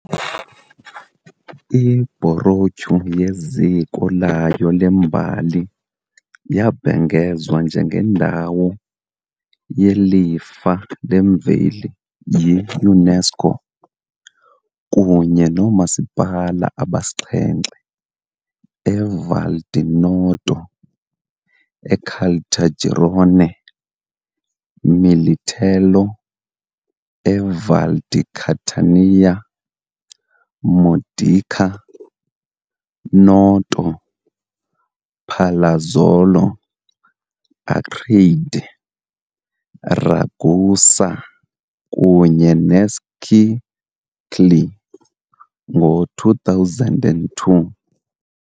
I-baroque yeziko layo lembali yabhengezwa njengeNdawo yeLifa leMveli yi-UNESCO, kunye noomasipala abasixhenxe eVal di Noto, Caltagirone, Militello eVal di Catania, Modica, Noto, Palazzolo Acreide, Ragusa kunye neScicli, ngo-2002.